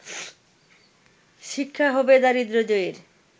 শিক্ষা হবে দারিদ্র জয়ের